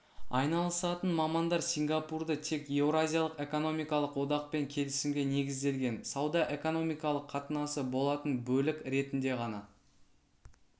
айналысатын мамандар сингапурды тек еуразиялық экономикалық одақпен келісімге негізделген сауда-экономикалық қатынасы болатын бөлік ретінде ғана